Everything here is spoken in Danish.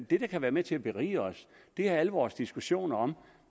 det der kan være med til at berige os er alle vores diskussioner om